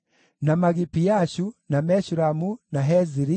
na Magipiashu, na Meshulamu, na Heziri,